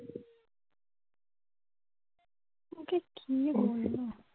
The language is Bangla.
কি